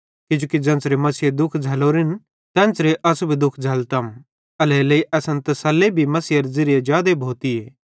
किजोकि ज़ेन्च़रे मसीहे दुःख झ़ैलोरेन तेन्च़रे अस भी दुःख झ़ैल्लतम एल्हेरेलेइ असन तसल्ली भी मसीहेरे ज़िरिये जादे भोतीए